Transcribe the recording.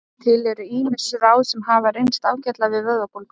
Til eru ýmis ráð sem hafa reynst ágætlega við vöðvabólgu.